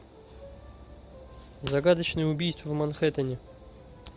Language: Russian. загадочное убийство в манхэттене